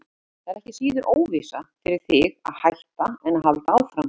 Það er ekki síður óvissa fyrir þig að hætta en að halda áfram.